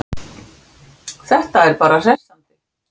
Það er bara hressandi.